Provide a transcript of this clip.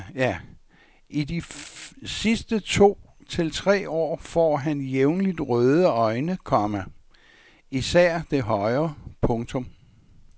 I de sidste to til tre år får han jævnligt røde øjne, komma især det højre. punktum